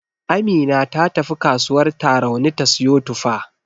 Amina ta tafi kasuwar Tarauni ta siyo tufa.